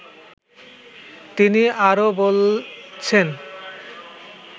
তিনি আরও বলছেন